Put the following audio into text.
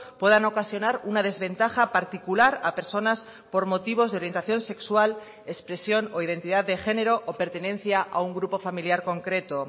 puedan ocasionar una desventaja particular a personas por motivos de orientación sexual expresión o identidad de género o pertenencia a un grupo familiar concreto